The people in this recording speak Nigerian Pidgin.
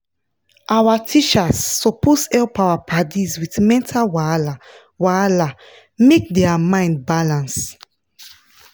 our teachers suppose help our padis with mental wahala wahala make dia mind balance